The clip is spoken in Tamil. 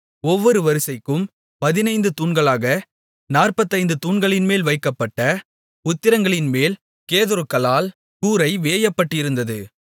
ஒவ்வொரு வரிசைக்கும் பதினைந்து தூண்களாக நாற்பத்தைந்து தூண்களின்மேல் வைக்கப்பட்ட உத்திரங்களின்மேல் கேதுருக்களால் கூரை வேயப்பட்டிருந்தது